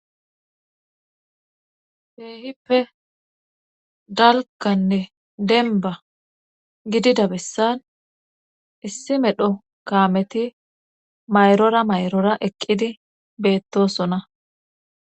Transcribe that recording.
Keehippe dalganne denba gidida bessan issi medho kaameti mayrora mayrora eqqidi beettosona